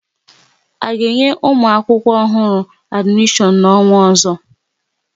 A ga-enye ụmụ akwụkwọ ọhụrụ adimishon n'ọnwa ozo?